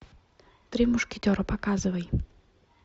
три мушкетера показывай